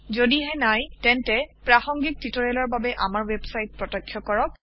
যদিহে নাই তেন্তে প্ৰাসংগিক টিউটৰিয়েলৰ বাবে আমাৰ ৱেবছাইট প্ৰত্যক্ষ কৰক